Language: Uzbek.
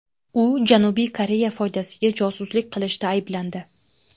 U Janubiy Koreya foydasiga josuslik qilishda ayblandi.